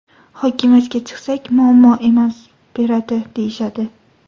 Hokimiyatga chiqsak, muammo emas, beradi, deyishadi.